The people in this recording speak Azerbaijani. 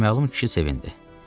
Naməlum kişi sevindi.